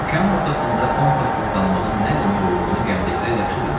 Okeanın ortasında kompassız qalmağın nə demək olduğunu gəmidəkilər yaxşı bilirdilər.